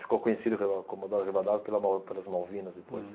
Ficou conhecido Comodoro Rivadavia pela mal, pelas Malvinas, depois. Hum.